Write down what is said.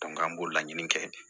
an b'o laɲini kɛ